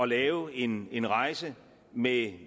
lave en en rejse med